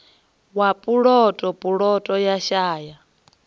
wa puloto puloto ya shaya